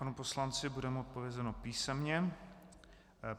Panu poslanci bude odpovězeno písemně.